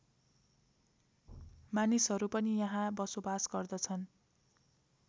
मानिसहरू पनि यहाँ बसोबास गर्दछन्